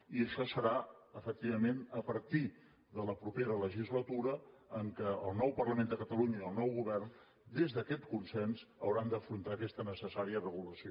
i això serà efectivament a partir de la propera legislatura en què el nou parlament de catalunya i el nou govern des d’aquest consens hauran d’afrontar aquesta necessària regulació